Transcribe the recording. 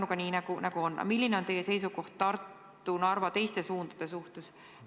Olgu Pärnuga, kuidas on, aga milline on teie seisukoht Tartu, Narva ja teiste suundade suhtes?